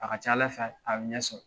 A ka ca Ala fɛ a bɛ ɲɛsɔrɔ.